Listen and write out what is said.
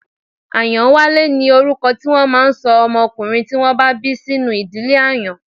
Ayanwale ni orúkọ tí wọ́n máà ń ṣọ ọmọkùnrin tí wọ́n bí sínú ìdílé Àyàn.